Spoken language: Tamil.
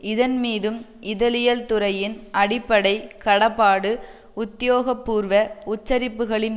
இதன்மீதும் இதழியல்துறையின் அடிப்படை கடப்பாடு உத்தியோகபூர்வ உச்சரிப்புக்களின்